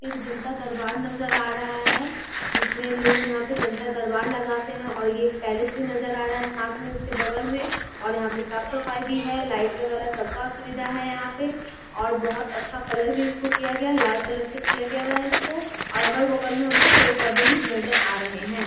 एक जनता दरबार नजर आ रहा है जिसमें लोग यहाँ पे जनता दरबार लगाते हैं और ये एक पैलेस भी नजर आ रहा है साथ में उसके बगल में और यहाँ पे साफ़ सफाई भी है लाइट वगैरह सबका सुविधा है यहाँ पे और बहुत अच्छा कलर भी इसको किया गया लाल कलर से किया गया हुआ है इसको और अगल बगल में हमको पेड़-पौधे भी नजर आ रहे हैं।